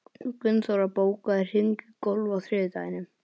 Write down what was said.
Gunnþóra, bókaðu hring í golf á þriðjudaginn.